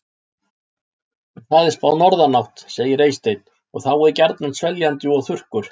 En það er spáð norðanátt, segir Eysteinn, og þá er gjarnan sveljandi og þurrkur.